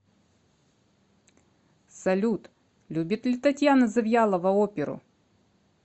салют любит ли татьяна завьялова оперу